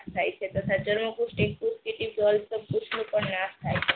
થાય છે તથા તરણા પુષ્ટિ એક પુષ્ટ નાશ થાય છે